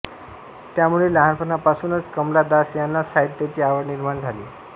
त्यामुळे लहानपणापासूनच कमला दास ह्यांना साहित्याची आवड निर्माण झाली